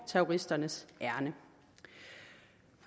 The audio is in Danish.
terroristernes ærinde